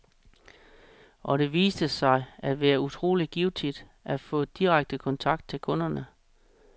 Og det viste sig at være utrolig givtigt at få direkte kontakt med kunderne.